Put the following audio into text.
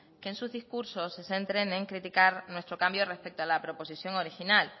que en sus discursos se centren en criticar nuestro cambio respecto a la proposición original